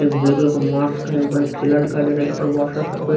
एक blue colour का mask है यहाँ पर एक थेला दिखाई दे रहा है यहाँ पर बहुत सारा सफे--